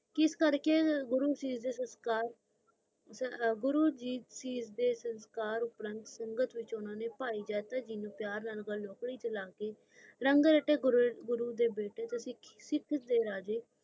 ਕਿਸ ਕਰ ਕ ਗੁਰੂ ਸ਼ੀਸ਼ ਦੇ ਸੰਸਕਾਰ ਸੰਗਤ ਤੇ ਵਿਚ ਓ ਭਾਈ ਜਾਤਾ ਜੀ ਰੰਗ ਰਾਇਤੇ ਗੁਰੂ ਦੇ ਬੀਤੇ ਤੁਸੀ ਸਿੱਖ ਦੇ ਰਾਜੇ